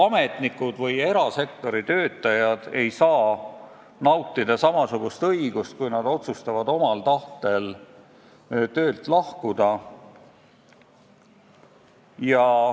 Ametnikud ega erasektori töötajad ei saa nautida samasugust õigust, kui nad otsustavad omal tahtel töölt lahkuda.